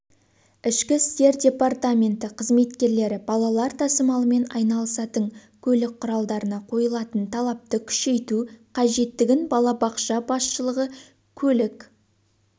ішкі істер департаменті қызметкерлері балалар тасымалымен айналысатын көлік құралдарына қойылатын талапты күшейту қажеттігін балабақша басшылығы көлік